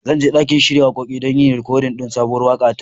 Zan je ɗakin shiya waƙoƙi don yin rikodin sabuwar waƙa ta.